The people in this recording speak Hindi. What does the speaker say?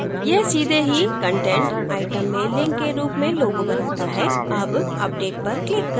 यह सीधे ही कंटेंट आइटम में link के रूप में logo बनाता है अब update पर click करें